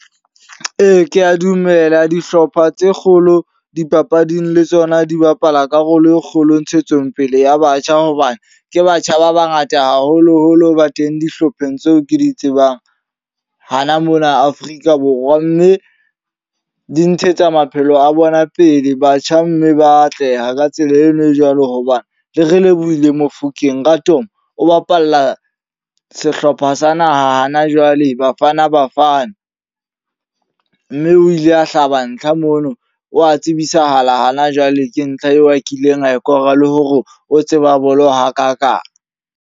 Ee, kea dumela dihlopha tse kgolo dipapading le tsona di bapala karolo e kgolo ntshetsopele ya batjha. Hobane ke batjha ba bangata haholo-holo ba teng dihlopheng tseo ke di tsebang hana mona Afrika Borwa. Mme di ntshetsa maphelo a bona pele. Batjha mme ba atleha ka tsela eno e jwalo hobane le Relebohile Mofokeng Raadop o bapalla sehlopha sa naha hana jwale Bafana Bafana. Mme o ile a hlaba ntlha mono wa tsebisahala ha na jwale ke ntlha eo a kileng a kora. Le hore o tseba bolo hakakang.